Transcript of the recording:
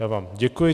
Já vám děkuji.